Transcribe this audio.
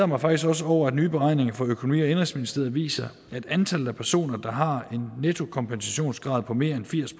mig faktisk også over at nye beregninger fra økonomi og indenrigsministeriet viser at antallet af personer der har en nettokompensationsgrad på mere end firs